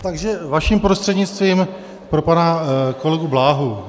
Takže, vaším prostřednictvím, pro pana kolegu Bláhu.